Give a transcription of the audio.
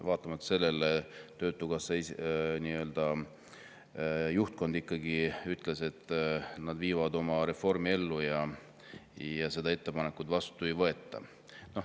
Vaatamata sellele töötukassa juhtkond ikkagi ütles, et nad viivad oma reformi ellu ja seda ettepanekut vastu ei võeta.